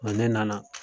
ne nana